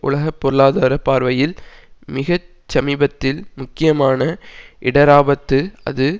உலக பொருளாதார பார்வையில் மிக சமீபத்தில் முக்கியமான இடராபத்துஅது